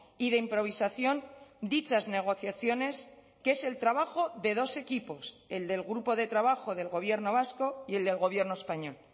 y de improvisación dichas negociaciones que es el trabajo de dos equipos el del grupo de trabajo del gobierno vasco y el del gobierno español